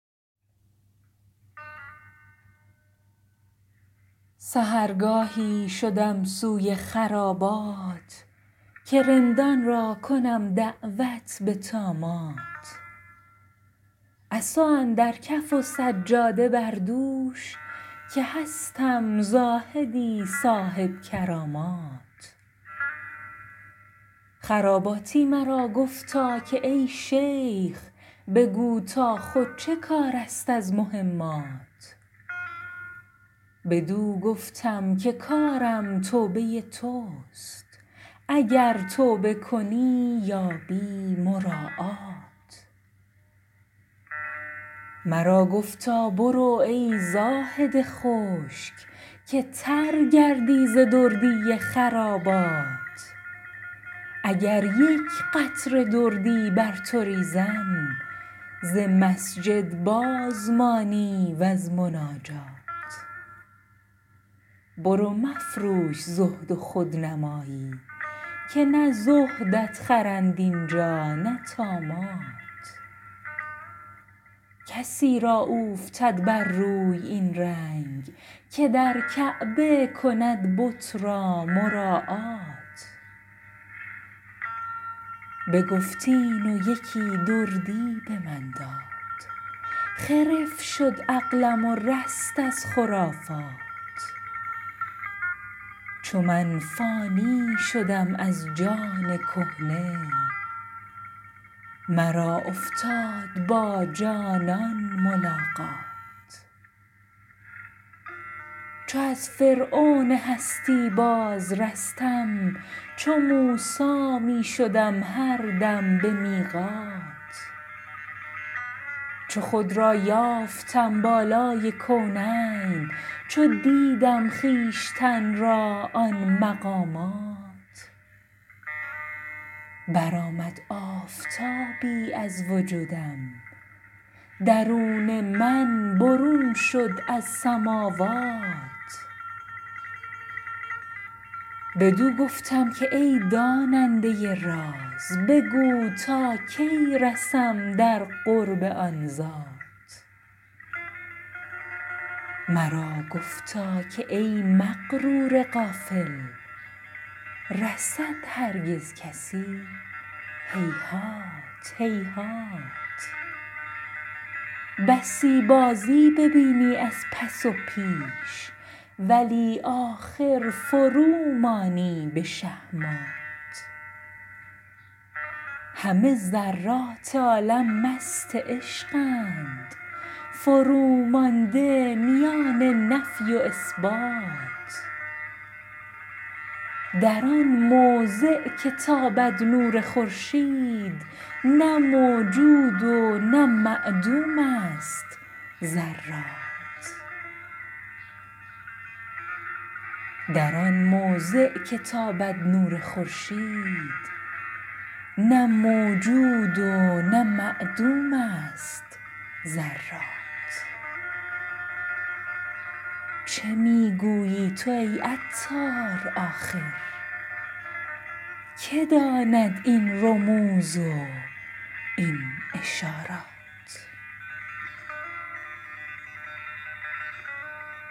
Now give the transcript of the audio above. سحرگاهی شدم سوی خرابات که رندان را کنم دعوت به طامات عصا اندر کف و سجاده بر دوش که هستم زاهدی صاحب کرامات خراباتی مرا گفتا که ای شیخ بگو تا خود چه کار است از مهمات بدو گفتم که کارم توبه توست اگر توبه کنی یابی مراعات مرا گفتا برو ای زاهد خشک که تر گردی ز دردی خرابات اگر یک قطره دردی بر تو ریزم ز مسجد باز مانی وز مناجات برو مفروش زهد و خودنمایی که نه زهدت خرند اینجا نه طامات کسی را اوفتد بر روی این رنگ که در کعبه کند بت را مراعات بگفت این و یکی دردی به من داد خرف شد عقلم و رست از خرافات چو من فانی شدم از جان کهنه مرا افتاد با جانان ملاقات چو از فرعون هستی باز رستم چو موسی می شدم هر دم به میقات چو خود را یافتم بالای کونین چو دیدم خویشتن را آن مقامات برآمد آفتابی از وجودم درون من برون شد از سماوات بدو گفتم که ای داننده راز بگو تا کی رسم در قرب آن ذات مرا گفتا که ای مغرور غافل رسد هرگز کسی هیهات هیهات بسی بازی ببینی از پس و پیش ولی آخر فرومانی به شهمات همه ذرات عالم مست عشقند فرومانده میان نفی و اثبات در آن موضع که تابد نور خورشید نه موجود و نه معدوم است ذرات چه می گویی تو ای عطار آخر که داند این رموز و این اشارات